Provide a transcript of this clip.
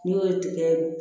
N'i y'o ye tigɛ